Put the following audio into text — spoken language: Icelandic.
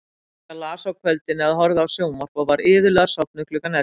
Inga las á kvöldin eða horfði á sjónvarp og var iðulega sofnuð klukkan ellefu.